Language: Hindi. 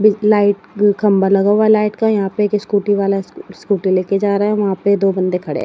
लाइट खंभा लागा हुआ लाइट का यहां पे एक स्कूटी वाला स स्कूटी लेके जा रहा है वहां पे दो बंदे खड़े--